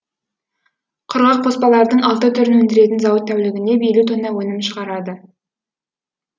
құрғақ қоспалардың алты түрін өндіретін зауыт тәулігіне елу тонна өнім шығарады